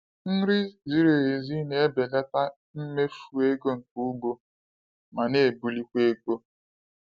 Nri ziri ezi na-ebelata mmefu ego nke ugbo ma na-ebulikwa ego.